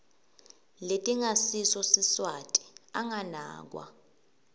letingasiso siswati anganakwa